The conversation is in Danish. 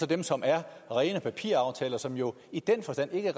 dem som er rene papiraftaler og som jo i den forstand ikke